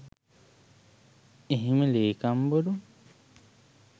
එහෙම ලේකම්වරුන්